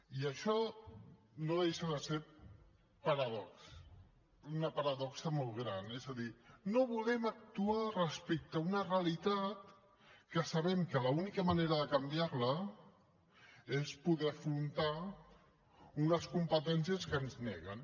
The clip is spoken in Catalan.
i això no deixa de ser paradoxal una paradoxa molt gran és a dir no volem actuar respecte a una realitat que sabem que l’única manera de canviar la és poder afrontar unes competències que ens neguen